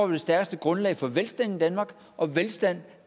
det stærkeste grundlag for velstand i danmark og velstand